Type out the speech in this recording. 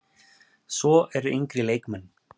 Svo eru yngri leikmenn.